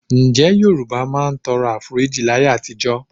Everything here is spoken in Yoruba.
Ǹjẹ́ Yorùbá máa ń tọrọ Àforíjì láyé àtijọ́?